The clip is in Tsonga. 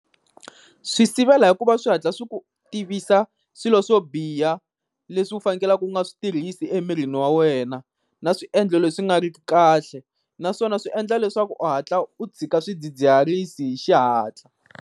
Swi sivela hikuva swi hatla swi ku tivisa swilo swo biha leswi u fanekelaka u nga swi tirhisi emirini wa wena, na swiendlo leswi nga ri ki kahle. Naswona swi endla leswaku u hatla u tshika swidzidziharisi hi xihatla.